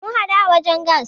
Mun hadu a wajen gas.